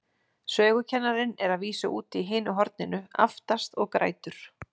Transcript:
Sögukennarinn er að vísu úti í hinu horninu, aftast, og grætur.